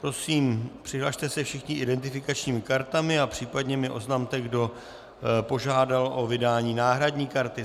Prosím, přihlaste se všichni identifikačními kartami a případně mi oznamte, kdo požádal o vydání náhradní karty.